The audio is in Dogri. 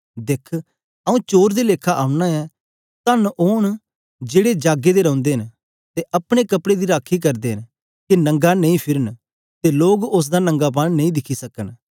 दिख आऊँ चोर दे लेखा आना ऐ धन्न ओन जेड़ा जागे दा रौंदा ऐ ते अपने कपड़े दी राखी करदा ऐ के नंगा नेई फिरे ते लोग उस्स दा नंगापन गी नेई दिखन